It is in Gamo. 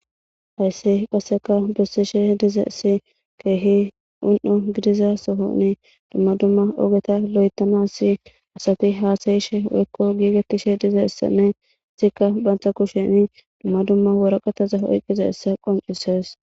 Haysse qasseka bessishe diza si keehi un'o gidiza sohoni dumma dumma ogeta lo'etamasi asafi haasayishe wekko giigetishe dizeessanne sikka bantha kusheni dumma dumma woraqataza oyqqiza essa qoncisees.